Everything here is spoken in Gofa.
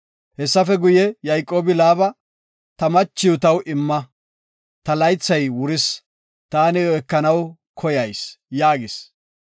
Hessafe guye, Yayqoobi, “Ta machiw taw imma, ta laythay wuris taani iyo ekanaw koyayis” yaagis.